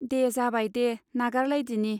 दे जाबायदे नागार लायदिनि.